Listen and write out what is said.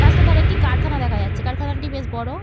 রাস্তার ধারে একটি কারখানা দেখা যাচ্ছে কারখানা টি বেশ বড়।